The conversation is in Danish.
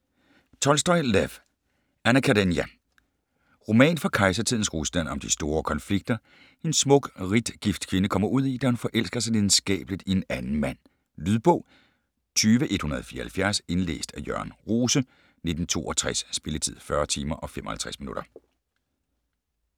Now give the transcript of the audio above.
Tolstoj, Lev: Anna Karenina Roman fra kejsertidens Rusland om de store konflikter, en smuk, rigt gift kvinde kommer ud i, da hun forelsker sig lidenskabeligt i en anden mand. Lydbog 20174 Indlæst af Jørn Rose, 1962. Spilletid: 40 timer, 55 minutter.